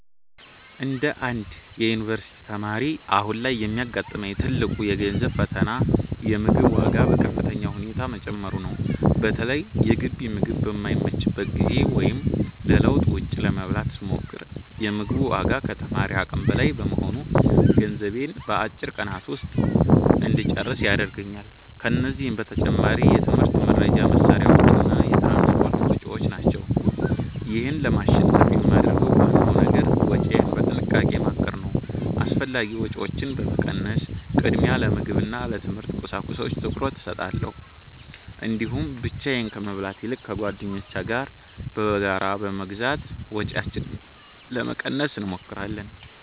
እንደ አንድ የዩኒቨርሲቲ ተማሪ፣ አሁን ላይ የሚያጋጥመኝ ትልቁ የገንዘብ ፈተና የምግብ ዋጋ በከፍተኛ ሁኔታ መጨመሩ ነው። በተለይ የግቢ ምግብ በማይመችበት ጊዜ ወይም ለለውጥ ውጭ ለመብላት ስሞክር፤ የ ምግቡ ዋጋ ከተማሪ አቅም በላይ በመሆኑ ገንዘቤን በአጭር ቀናት ውስጥ እንጨርስ ያደርገኛል። ከዚህም በተጨማሪ የትምህርት መርጃ መሣሪያዎችና የትራንስፖርት ወጪዎች ናቸው። ይህን ለማሸነፍ የማደርገው ዋናው ነገር ወጪዬን በጥንቃቄ ማቀድ ነው። አላስፈላጊ ወጪዎችን በመቀነስ፣ ቅድሚያ ለምግብና ለትምህርት ቁሳቁሶች ትኩረት እሰጣለሁ። እንዲሁም ብቻዬን ከመብላት ይልቅ ከጓደኞቼ ጋር በጋራ በመግዛት ወጪያችንን ለመቀነስ እንሞክራለን።